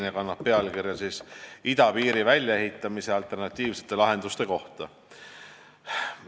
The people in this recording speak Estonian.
Arupärimine kannab pealkirja "Idapiiri väljaehitamise alternatiivsete lahenduste kohta".